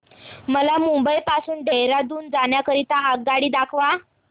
मला मुंबई पासून देहारादून जाण्या करीता आगगाडी दाखवा